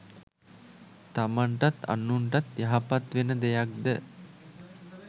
තමන්ටත් අනුන්ටත් යහපත් වෙන දෙයක් ද